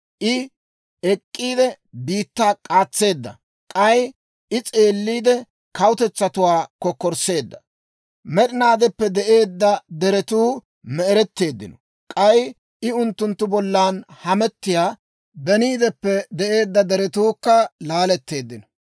I ek'k'iide biittaa k'aatseedda. K'ay I s'eelliide kawutetsatuwaa kokkorsseedda. Med'inaadeppe de'eedda deretuu me"eretteeddino; k'ay I unttunttu bollan hamettiyaa beniideppe de'eedda deretuukka laaletteeddino.